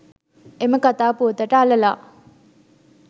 එම කතා පුවතට අළලා